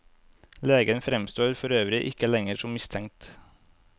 Legen fremstår forøvrig ikke lenger som mistenkt.